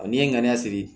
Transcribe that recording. n'i ye ŋaniya siri